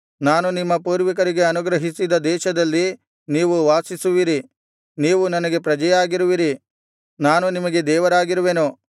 ನಾನು ನಿಮ್ಮ ಪೂರ್ವಿಕರಿಗೆ ಅನುಗ್ರಹಿಸಿದ ದೇಶದಲ್ಲಿ ನೀವು ವಾಸಿಸುವಿರಿ ನೀವು ನನಗೆ ಪ್ರಜೆಯಾಗಿರುವಿರಿ ನಾನು ನಿಮಗೆ ದೇವರಾಗಿರುವೆನು